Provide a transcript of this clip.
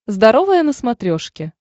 здоровое на смотрешке